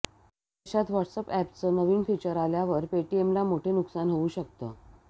अशात व्हॉट्सअॅपचं नवं फीचर आल्यावर पेटीएमला मोठं नुकसान होऊ शकतं